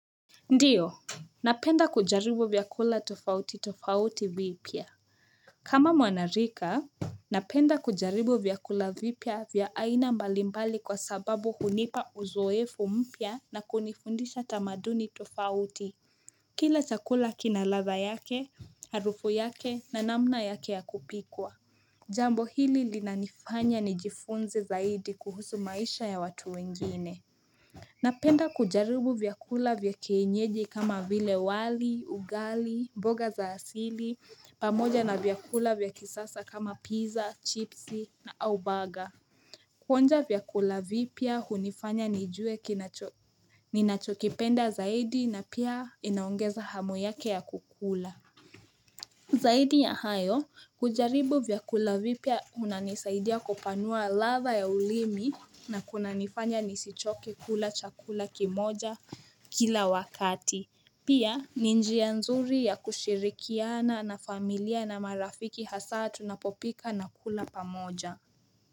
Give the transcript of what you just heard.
Ndiyo, napenda kujaribu vyakula tofauti tofauti vipia. Kama mwanarika, napenda kujaribu vyakula vipia vya aina mbalimbali kwa sababu hunipa uzoefu mpia na kunifundisha tamaduni tofauti. Kila chakula kinaladha yake, harufu yake na namna yake ya kupikwa. Jambo hili linanifanya nijifunze zaidi kuhusu maisha ya watu wengine. Napenda kujaribu vyakula vyakeinyeji kama vile wali, ugali, mboga za asili, pamoja na vyakula vyakisasa kama pizza, chipsi na au baga Kuonja vyakula vipia hunifanya ni juwe ninachokipenda zaidi na pia inaongeza hamo yake ya kukula Zaidi ya hayo kujaribu vyakula vipya unanisaidia kupanua latha ya ulimi na kuna nifanya nisichoke kula chakula kimoja kila wakati. Pia ni njia nzuri ya kushirikiana na familia na marafiki hasa tunapopika na kula pamoja.